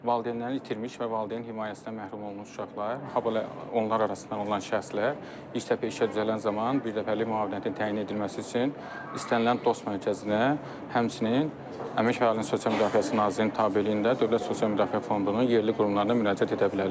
Valideynlərini itirmiş və valideyn himayəsindən məhrum olmuş uşaqlar, habelə onlar arasından olan şəxslər, ilk dəfə işə düzələn zaman birdəfəlik müavinətin təyin edilməsi üçün istənilən DOST mərkəzinə, həmçinin Əmək və Əhalinin Sosial Müdafiəsi Nazirliyinin tabeliyində Dövlət Sosial Müdafiə Fondunun yerli qurumlarına müraciət edə bilərlər.